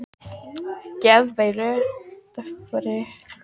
Hins vegar fór hann fljótt að sýna merki geðveilu.